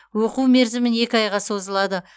оқу мерзімі екі айға созылады